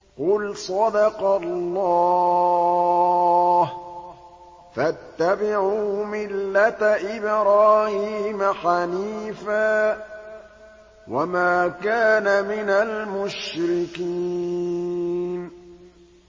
قُلْ صَدَقَ اللَّهُ ۗ فَاتَّبِعُوا مِلَّةَ إِبْرَاهِيمَ حَنِيفًا وَمَا كَانَ مِنَ الْمُشْرِكِينَ